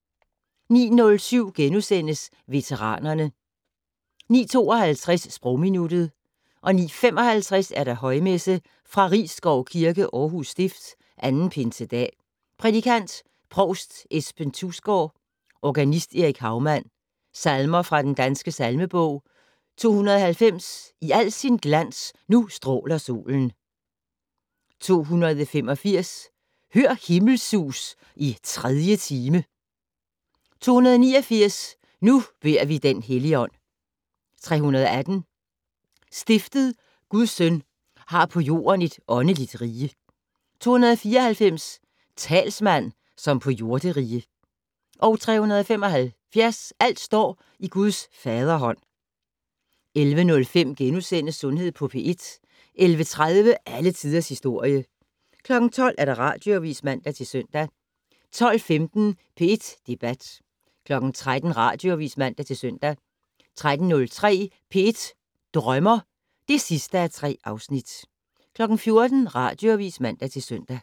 09:07: Veteranerne * 09:52: Sprogminuttet 09:55: Højmesse - Fra Risskov Kirke, Aarhus Stift. 2. Pinsedag. Prædikant: Provst Esben Thusgaard. Organist: Erik Haumann. Salmer fra den Danske salmebog: 290 "I al sin glans nu stråler solen". 285 "Hør himmelsus i tredie time". 289 "Nu bede vi den Helligånd". 318 "Stiftet Guds Søn har på jorden et åndeligt rige". 294 "Talsmand, som på jorderige". 375 "Alt står i Guds faderhånd". 11:05: Sundhed på P1 * 11:30: Alle tiders historie 12:00: Radioavis (man-søn) 12:15: P1 Debat 13:00: Radioavis (man-søn) 13:03: P1 Drømmer (3:3) 14:00: Radioavis (man-søn)